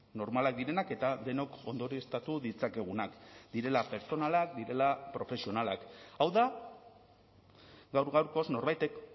normalak direnak eta denok ondorioztatu ditzakegunak direla pertsonalak direla profesionalak hau da gaur gaurkoz norbaitek